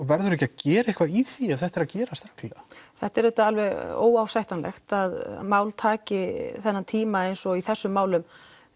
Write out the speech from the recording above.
verður ekki að gera eitthvað í því ef þetta er að gerast reglulega þetta er auðvitað alveg óásættanlegt að mál taki þennan tíma eins og í þessum málum